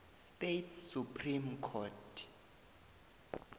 states supreme court